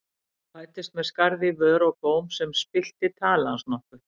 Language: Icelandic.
Hann fæddist með skarð í vör og góm sem spillti tali hans nokkuð.